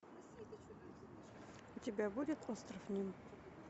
у тебя будет остров ним